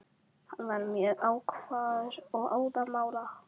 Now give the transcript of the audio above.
Hann var mjög ákafur og óðamála.